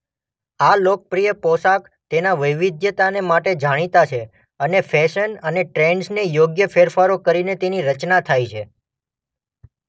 આ લોકપ્રિય પોશાક તેના વૈવિધ્યતાને માટે જાણીતા છે અને ફેશન અને ટ્રેન્ડ્સને યોગ્ય ફેરફારો કરીને તેની રચના થાય છે.